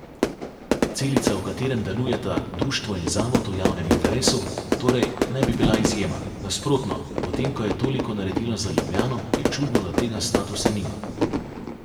Celica, v katerem delujeta društvo in zavod v javnem interesu, torej ne bi bila izjema, nasprotno, potem, ko je toliko naredila za Ljubljano, je čudno, da tega statusa nima.